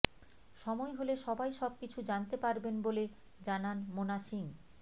সময় হলে সবাই সবকিছু জানতে পারবেন বলে জানান মোনা সিং